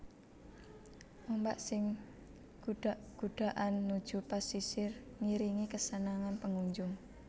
Ombak sing gudak gudakan nuju pasisir ngiringi kesenengan pengunjung